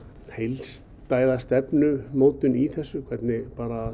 heilstæða stefnumótun í þessu hvernig